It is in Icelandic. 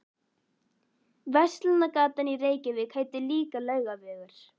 Verslunargatan í Reykjavík heitir líka Laugavegur.